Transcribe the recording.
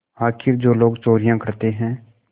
आखिर जो लोग चोरियॉँ करते हैं